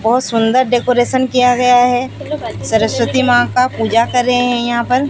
बहुत सुंदर डेकोरेशन किया गया है सरस्वती मां का पूजा कर रहे हैं यहां पर।